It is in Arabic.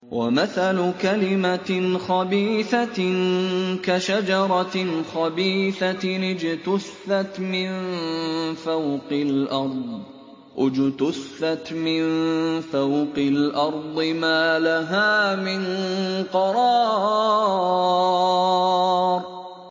وَمَثَلُ كَلِمَةٍ خَبِيثَةٍ كَشَجَرَةٍ خَبِيثَةٍ اجْتُثَّتْ مِن فَوْقِ الْأَرْضِ مَا لَهَا مِن قَرَارٍ